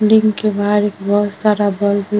लिंग के बहार एक बहोत सारा बल्ब --